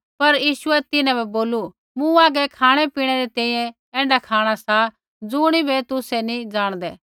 पर यीशुऐ तिन्हां बै बोलू मूँ आगै खाँणै री तैंईंयैं ऐण्ढा खाँणा सा ज़ुणिबै तुसै नी जाणदै